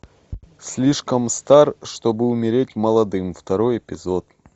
слишком стар чтобы умереть молодым второй эпизод